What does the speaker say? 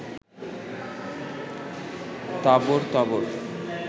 তাবড় তাবড়